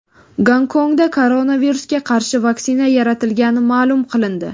Gonkongda koronavirusga qarshi vaksina yaratilgani ma’lum qilindi.